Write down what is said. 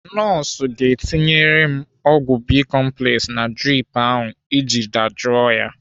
Nọọsụ ga-etinyere m ọgwụ bicomplex na drip ahụ iji dajụọ ya.